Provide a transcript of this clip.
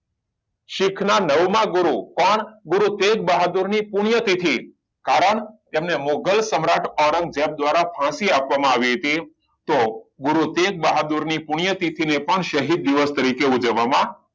સીખ ના નાવમાં ગુરુ કોણ ગુરુતેજ બહાદુર ની પુણ્ય તિથિ કારણ તેમને મુઘલ સમ્રાટ ઓરંગઝેબ દ્વારા ફાંસી આપવામાં આવી હતી તો ગુરુ તેજબહાદુર ની પુણ્ય તિથિ ને પણ શહીદ દિવસ તરીકે ઉજવવામાં